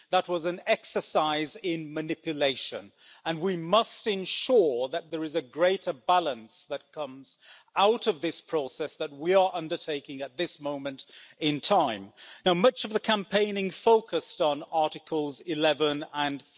That was an exercise in manipulation, and we must ensure that there is a greater balance that comes out of this process that we are undertaking at this moment in time. Much of the campaigning focused on Articles 11 and